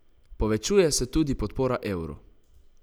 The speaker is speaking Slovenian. Povečuje se tudi podpora evru.